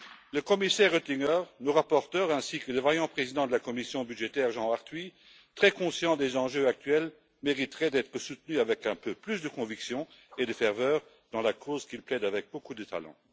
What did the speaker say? Le commissaire Oettinger, nos rapporteurs ainsi que le vaillant président de la commission budgétaire, Jean Arthuis, très conscients des enjeux actuels, mériteraient d'être soutenus avec un peu plus de conviction et de ferveur dans la cause qu'ils plaident avec beaucoup de talent.